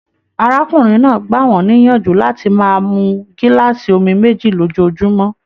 Arákùnrin náà gbà wọn níyànjú láti máa mú gilaasi omí méjì lójoojúmọ́.